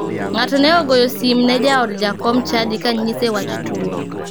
Ng'ato ne ogoyo sim ne jaod jakom chadi ka nyise wach tuo.